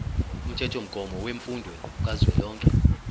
umthethomgomo wemfundo kazwelonke